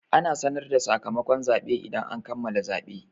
Ana sanar da sakamakon zaɓe idan an kammala zaɓe.